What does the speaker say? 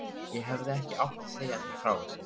Ég hefði ekki átt að segja þér frá þessu